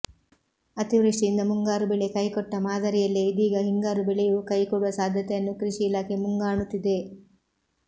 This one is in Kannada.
ಅತಿವೃಷ್ಟಿಯಿಂದ ಮುಂಗಾರು ಬೆಳೆ ಕೈಕೊಟ್ಟಮಾದರಿಯಲ್ಲೇ ಇದೀಗ ಹಿಂಗಾರು ಬೆಳೆಯೂ ಕೈಕೊಡುವ ಸಾಧ್ಯತೆಯನ್ನು ಕೃಷಿ ಇಲಾಖೆ ಮುಂಗಾಣುತ್ತಿದೆ